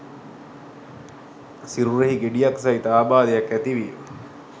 සිරුරෙහි ගෙඩියක් සහිත ආබාධයක් ඇති විය.